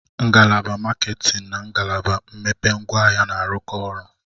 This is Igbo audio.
Ngalaba maketin na ngalaba mmepe ngwaahịa na-arụkọ ọrụ.